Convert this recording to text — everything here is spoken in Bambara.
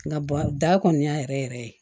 Nka da kɔni y'a yɛrɛ yɛrɛ yɛrɛ ye